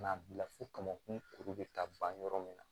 Ka na bila fo kamankun kuru bɛ taa ban yɔrɔ min na